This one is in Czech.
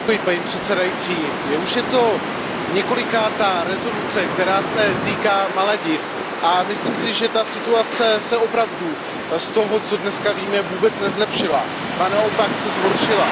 Paní předsedající, je to už několikátá rezoluce, která se týká Malediv, a myslím si, že ta situace se opravdu z toho, co dneska víme, vůbec nezlepšila, ba naopak se zhoršila.